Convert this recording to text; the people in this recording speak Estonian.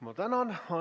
Ma tänan!